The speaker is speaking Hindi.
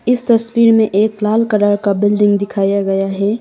इस तस्वीर में एक लाल कलर का बिल्डिंग दिखाया गया है।